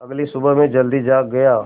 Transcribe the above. अगली सुबह मैं जल्दी जाग गया